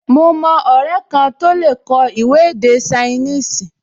Mo mọ ọrẹ kan tó lè kọ ìwé ní èdè ṣainíìsì